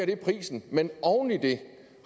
det prisen men oven i det